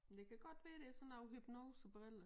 Men det kan godt være det sådan noget hypnosebrille